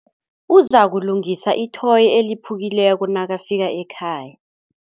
Uzakulungisa ithoyi eliphukileko nakafika ekhaya.